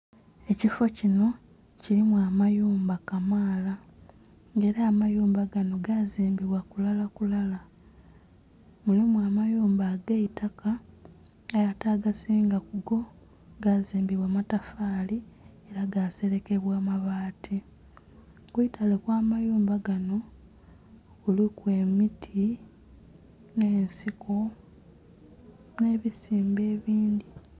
Ekifo kinho kilimu amayumba kamaala nga ela amayumba ganho gaazimbibwa kulalakulala. Mulimu amayumba ag'eitaka aye ate agasinga kugo gazimbibwa matafaali, gaaselekebwa mabaati. Ku itale okw'amayumba ganho kuliku emiti nh'ensiko nhe bisimbe ebindhi.